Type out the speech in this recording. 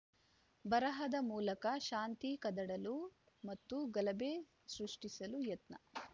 ಬರಹದ ಮೂಲಕ ಶಾಂತಿ ಕದಡಲು ಮತ್ತು ಗಲಭೆ ಸೃಷ್ಟಿಸಲು ಯತ್ನ